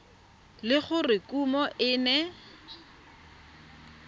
le gore kumo e ne